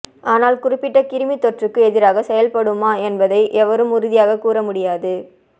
ஆனால் குறிப்பிட்ட கிருமித்தொற்றுக்கு எதிராகச் செயல்படுமா என்பதை எவரும் உறுதியாகக் கூறமுடியாது